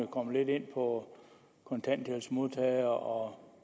kommet lidt ind på kontanthjælpsmodtagere